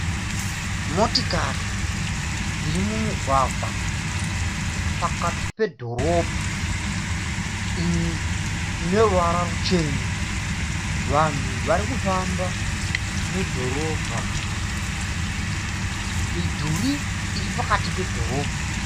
Motikari dziri mumugwagwa pakati pedhorobha, imwe ine ruvara ruchena, vanhu varikufamba mudhorobha, midhuri iri pakati pedhorobha.